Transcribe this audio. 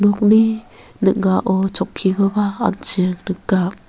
nokni ning·ao chokkikoba an·ching nika.